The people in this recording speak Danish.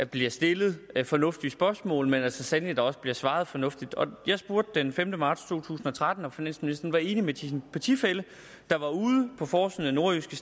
bliver stillet fornuftige spørgsmål men at der så sandelig også bliver svaret fornuftigt og jeg spurgte den femte marts to tusind og tretten om finansministeren var enig med sin partifælle der var ude på forsiden af nordjyske